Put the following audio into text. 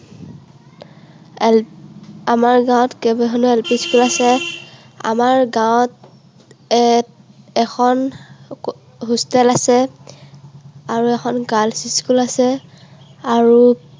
আমাৰ গাঁৱত কেইবাখনো LP school আছে। আমাৰ গাঁৱত এখন hostel আছে, আৰু এখন girls' school আছে। আৰু